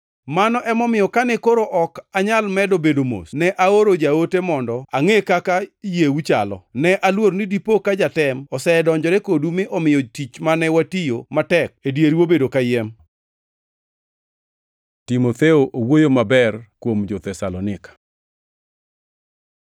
Mano emomiyo kane koro ok anyal medo bedo mos, ne aoro jaote mondo angʼe kaka yieu chalo. Ne aluor ni dipo ka jatem osedonjore kodu mi omiyo tich mane watiyo matek e dieru obedo kayiem. Timotheo owuoyo maber kuom jo-Thesalonika